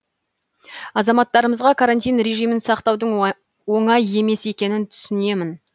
азаматтарымызға карантин режимін сақтаудың оңай емес екенін түсінемін